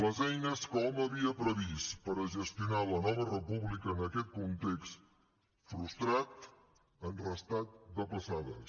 les eines que hom havia previst per a gestionar la nova república en aquest context frustrat han restat depassades